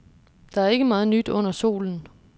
Der er ikke meget nyt under solen.